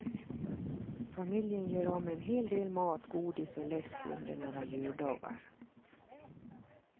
Familjen gör av med en hel del mat, godis och läsk under några juldagar.